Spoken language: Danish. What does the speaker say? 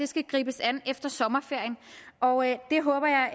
skal gribes an efter sommerferien og jeg håber